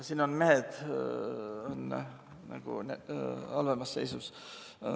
Siin on mehed halvemas seisus.